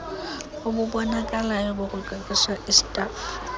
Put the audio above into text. obubonakalayo bokuqeqesha istafu